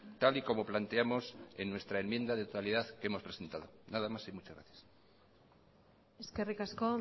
tal y como planteamos en nuestra enmienda de totalidad que hemos presentado nada más y muchas gracias eskerrik asko